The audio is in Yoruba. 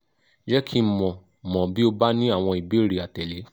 je ki n mo mo bi o ba ni awon ibeere atele